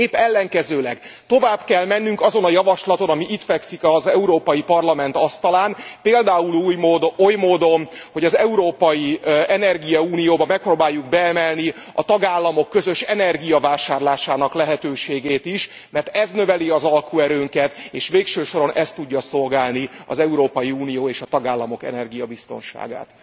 Épp ellenkezőleg, tovább kell mennünk azon a javaslaton, ami itt fekszik az Európai Parlament asztalán, például oly módon, hogy az európai energiaunióba megpróbáljuk beemelni a tagállamok közös energiavásárlásának lehetőségét is, mert ez növeli az alkuerőnket, és végső soron ez tudja szolgálni az Európai Unió és a tagállamok energiabiztonságát.